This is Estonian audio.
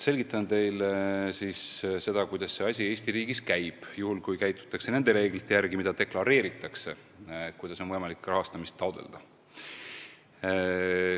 Selgitan teile, mismoodi see asi Eesti riigis käib, juhul kui tegutsetakse nende reeglite järgi, kuidas on võimalik rahastamist taotleda.